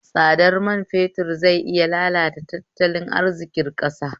Tsadar mai fetur zai iya lalata tattalin arziƙin ƙasa